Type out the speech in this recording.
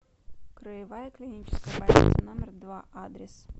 краевая клиническая больница номер два адрес